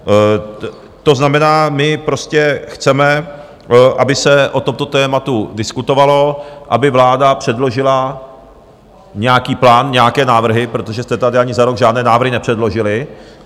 To znamená, my prostě chceme, aby se o tomto tématu diskutovalo, aby vláda předložila nějaký plán, nějaké návrhy, protože jste tady ani za rok žádné návrhy nepředložili.